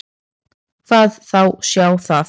Hvað þá sjá það.